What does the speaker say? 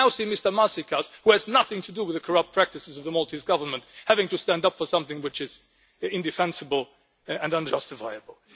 We now see Mr Maasikas, who has nothing to do with the corrupt practices of the Maltese Government, having to stand up for something which is indefensible and unjustifiable.